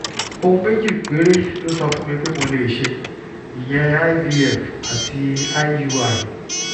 ohun méjì péré ló sọ fún mi pé mo lè ṣe ìyẹn ivf àti iui